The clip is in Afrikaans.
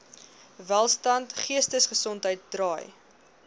welstand geestesgesondheid draai